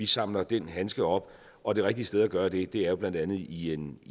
samler den handske op og det rigtige sted at gøre det er jo blandt andet i en